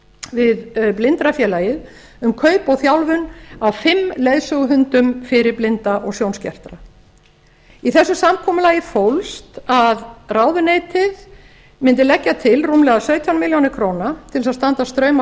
við blindrafélagið um kaup og þjálfun að fimm leiðsöguhundum fyrir blinda og sjónskerta í þessu samkomulagi fólst að ráðuneytið mundi leggja til rúmlega sautján milljónir króna til þess að standa straum af